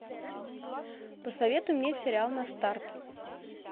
посоветуй мне сериал на старт